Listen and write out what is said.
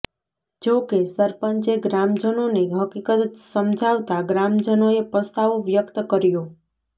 જોકે સરપંચે ગ્રામજનોને હકીકત સમજાવતા ગ્રામજનોએ પસ્તાવો વ્યક્ત કર્યો